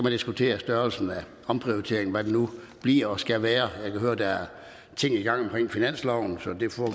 diskutere størrelsen af omprioriteringen altså hvad det nu bliver og skal være jeg kan høre der er ting i gang omkring finansloven så